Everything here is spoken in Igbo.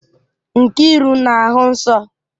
Nkiru na-ahụ nsọ?